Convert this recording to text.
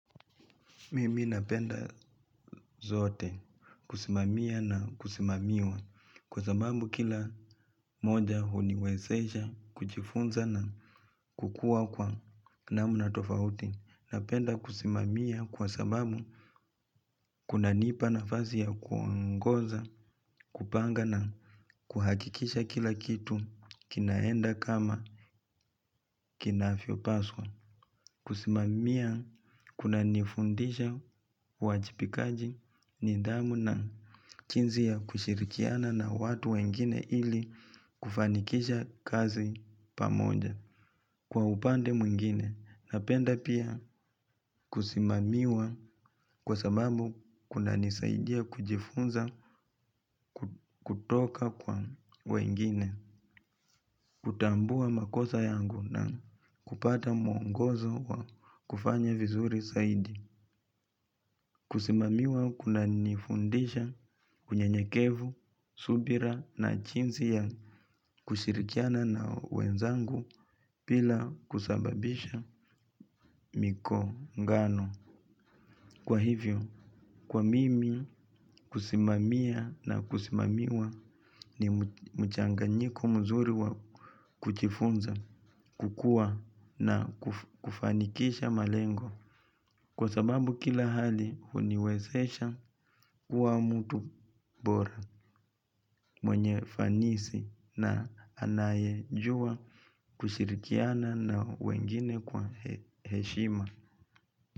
Mimi napenda zote kusimamia na kusimamiwa kwa sababu kila moja huniwezesha kjifunza na kukua kwa namna tofauti. Napenda kusimamia kwa sababu kunanipa nafasi ya kuongoza, kupanga na kuhakikisha kila kitu kinaenda kama kinavyopaswa. Kusimamia kunanifundisha uajibikaji nidhamu na jinsi ya kushirikiana na watu wengine ili kufanikisha kazi pamoja. Kwa upande mwingine, napenda pia kusimamiwa kwa sababu kunanisaidia kujifunza kutoka kwa wengine. Kutambua makosa yangu na kupata mwongozo wa kufanya vizuri zaidi. Kusimamiwa kunanifundisha unyenyekevu, subira na jinsi ya kushirikiana na wenzangu bila kusababisha migongano. Kwa hivyo, kwa mimi kusimamia na kusimamiwa ni mchanganyiko mzuri wa kujifunza, kukua na kufanikisha malengo. Kwa sababu kila hali huniwezesha kuwa mtu bora mwenye ufanisi na anayejua kushirikiana na wengine kwa heshima.